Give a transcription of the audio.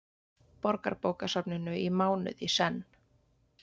Borgarbókasafninu í mánuð í senn.